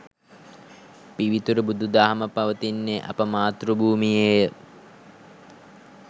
පිවිතුරු බුදුදහම පවතින්නේ අප මාතෘ භූමියේ ය.